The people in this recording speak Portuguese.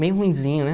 Meio ruimzinho, né?